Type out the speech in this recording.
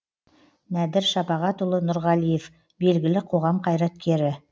нәдір шапағатұлы нұрғалиев белгілі қоғам қайраткері